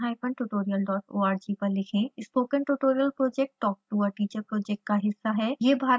अधिक जानकारी के लिए कृपया contact @spokentutorial org पर लिखें